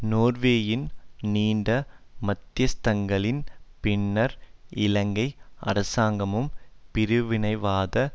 நோர்வேயின் நீண்ட மத்தியஸ்தங்களின் பின்னர் இலங்கை அரசாங்கமும் பிரிவினைவாத